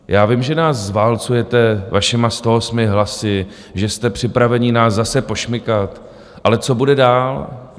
Já vím, že nás zválcujete vašimi 108 hlasy, že jste připraveni nás zase pošmikat, ale co bude dál?